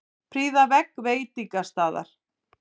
Prýða vegg veitingastaðar